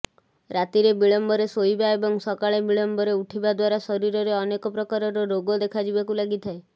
ରାତିରେ ବିଳମ୍ବରେ ଶୋଇବା ଏବଂ ସକାଳେ ବିଳମ୍ବରେ ଉଠିବା ଦ୍ୱାରା ଶରୀରରେ ଅନେକ ପ୍ରକାରର ରୋଗ ଦେଖାଯିବାକୁ ଲାଗିଥାଏ